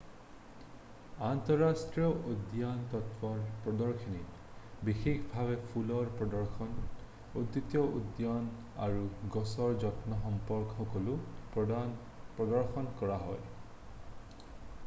আন্তঃৰাষ্ট্ৰীয় উদ্যানতত্বৰ প্ৰদৰ্শনীত বিশেষভাৱে ফুলৰ প্ৰদৰ্শন উদ্ভিদ উদ্যান আৰু গছৰ যত্ন সম্পৰ্কে সকলো প্ৰদৰ্শন কৰা হয়